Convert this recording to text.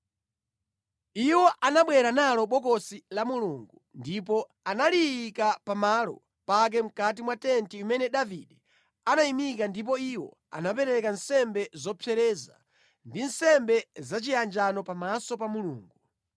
Iwo anabwera nalo Bokosi la Mulungu ndipo analiyika pamalo pake mʼkati mwa tenti imene Davide anayimika ndipo iwo anapereka nsembe zopsereza ndi nsembe zachiyanjano pamaso pa Mulungu.